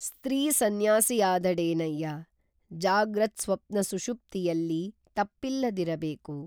ಸ್ತ್ರೀಸನ್ಯಾಸಿಯಾದಡೇನಯ್ಯ ಜಾಗ್ರತ್ಸ್ವಪ್ನಸುಷುಪ್ತಿಯಲ್ಲಿ ತಪ್ಪಿಲ್ಲದಿರಬೇಕು